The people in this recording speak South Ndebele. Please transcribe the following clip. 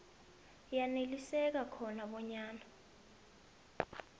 yaneliseka khona bonyana